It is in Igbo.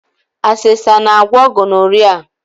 Asesa na-agwọ gonoria.